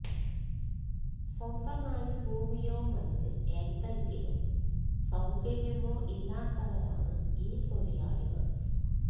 സ്വന്തമായി ഭൂമിയോ മറ്റ് എന്തെങ്കിലും സൌകര്യമോ ഇല്ലാത്തവരാണ് ഈ തൊഴിലാളികൾ